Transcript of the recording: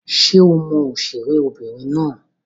Ṣé o mọ òṣèré obìnrin náà?